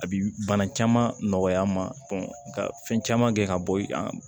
A bi bana caman nɔgɔya n ma ka fɛn caman kɛ ka bɔ i kan